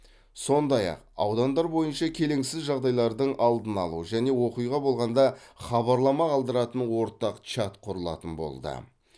сондай ақ аудандар бойынша келеңсіз жағдайлардың алдын алу және оқиға болғанда хабарлама қалдыратын ортақ чат құрылатын болды